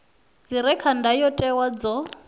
dzi re kha ndayotewa dzo